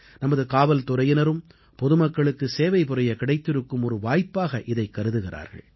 நமது காவல்துறையினரும் பொதுமக்களுக்கு சேவைபுரிய கிடைத்திருக்கும் ஒரு வாய்ப்பாகவே இதைக் கருதுகிறார்கள்